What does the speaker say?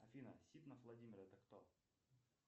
афина ситнов владимир это кто